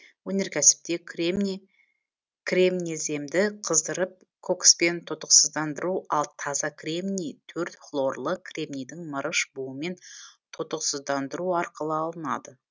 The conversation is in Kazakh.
өнеркәсіпте кремний кремнеземді қыздырып кокспен тотықсыздандыру ал таза кремний төрт хлорлы кремнийді мырыш буымен тотықсыздандыру арқылы алынады